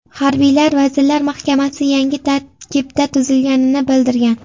Harbiylar Vazirlar Mahkamasi yangi tarkibda tuzilganini bildirgan .